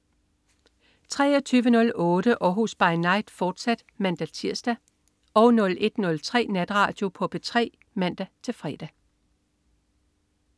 23.08 Århus By Night, fortsat (man-tirs) 01.03 Natradio på P3 (man-fre)